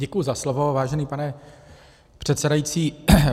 Děkuji za slovo, vážený pane předsedající.